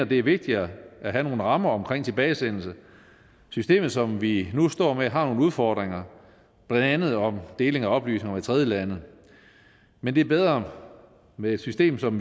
det er vigtigere at have nogle rammer om tilbagesendelse systemet som vi nu står med har nogle udfordringer blandt andet om deling af oplysninger med tredjelande men det er bedre med et system som